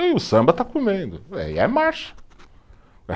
Aí o samba está comendo, aí é marcha.